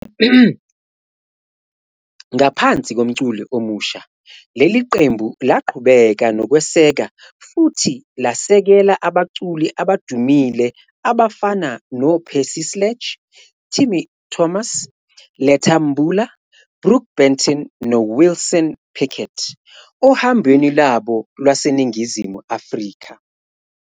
Ngaphansi komculi omusha, leli qembu laqhubeka nokweseka futhi lasekela abaculi abadumile abafana noPercy Sledge, Timmy Thomas, Letta Mbula, Brook Benton, noWilson Pickett ohambweni lwabo lwaseNingizimu Afrika.